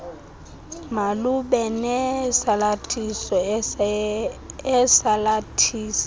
malube nesalathiso esalathisa